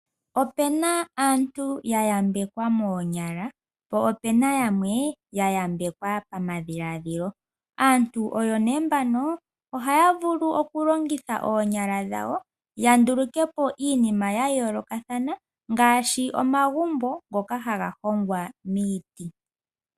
Opena aantu ya yambekwa moonyala po opena yamwe ya yambekwa pamadhiladhilo. Aantu nee mbano ohaya vulu okulongitha oonyala dhawo ya nduluke po iinima ya yoolokathana ngaashi omagumbo ngoka ha ga hongwa miiti.